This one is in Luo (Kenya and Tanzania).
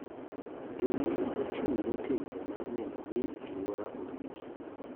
Jolweny ochung' motegno mar neno ni aluora oriti .